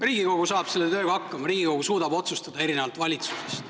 Riigikogu saab selle tööga hakkama, Riigikogu suudab otsustada, erinevalt valitsusest.